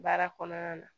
Baara kɔnɔna na